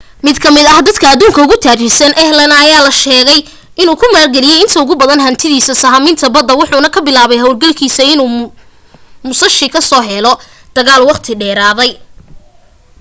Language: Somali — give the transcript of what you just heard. mid ka mid ah dadka adduunka ugu taajirsan, allen aya la sheegay inuu ku maalgeliyey inta ugu badan hantidiisa sahaminta badda wuxuuna ku bilaabay hawlgalkiisa inuu musashi ka soo helo dagaal waqti dheeraaday